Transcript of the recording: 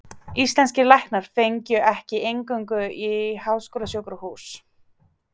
Íslenskir læknar fengju ekki inngöngu í háskólasjúkrahús